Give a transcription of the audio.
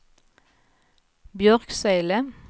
Björksele